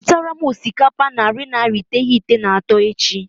Zụtara m osikapa narị naira iteghete na atọ echi.